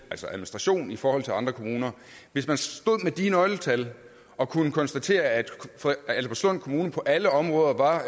altså administration i forhold til andre kommuner hvis man stod med de nøgletal og kunne konstatere at albertslund kommune på alle områder var